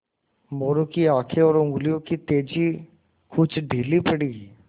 मोरू की आँखें और उंगलियों की तेज़ी कुछ ढीली पड़ी